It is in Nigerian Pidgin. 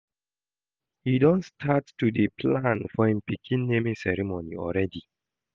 He don start to dey plan for im pikin naming ceremony already